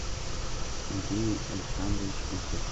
андрей александрович утев